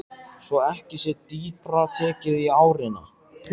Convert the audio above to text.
Svo ekki sé dýpra tekið í árinni.